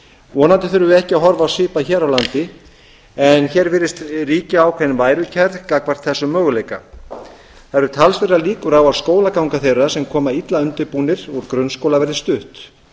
vonandi þurfum við ekki að horfa á svipað hér á landi en hér virðist ríkja ákveðin værukærir gagnvart þessum möguleika það eru talsverðar líkur á að skólaganga þeirra sem koma illa undirbúnir úr grunnskóla verði stutt